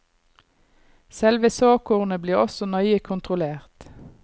Selve såkornet blir også nøye kontrollert.